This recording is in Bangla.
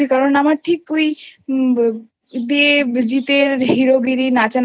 দিয়েছি কারণ আমার ঠিক হয় দেব জিৎ এর হিরোগিরিনাচানাচি